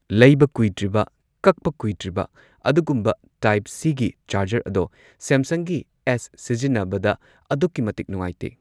ꯂꯩꯕ ꯀꯨꯏꯗ꯭ꯔꯤꯕ ꯀꯛꯄ ꯀꯨꯏꯗ꯭ꯔꯤꯕ ꯑꯗꯨꯒꯨꯝꯕ ꯇꯥꯏꯞ ꯁꯤꯒꯤ ꯆꯥꯔꯖꯔ ꯑꯗꯣ ꯁꯦꯝꯁꯪꯒꯤ ꯑꯦꯁ ꯁꯤꯖꯤꯟꯅꯕꯗ ꯑꯗꯨꯛꯀꯤ ꯃꯇꯤꯛ ꯅꯨꯡꯉꯥꯏꯇꯦ